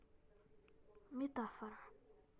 метафора